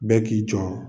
Bɛɛ k'i jɔ